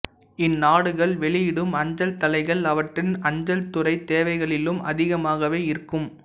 இந்நாடுகள் வெளியிடும் அஞ்சல் தலைகள் அவற்றின் அஞ்சல் துறைத் தேவைகளிலும் அதிகமாகவே இருக்கும்